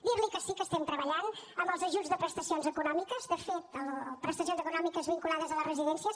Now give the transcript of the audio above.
dir li que sí que estem treballant amb els ajuts de prestacions econòmiques prestacions econòmiques vinculades a les residències